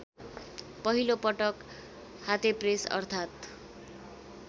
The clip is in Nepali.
पहिलोपटक हातेप्रेस अर्थात्